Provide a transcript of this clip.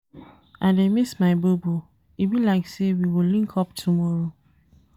I dey miss my bobo, e be like sey we go link up tomorrow.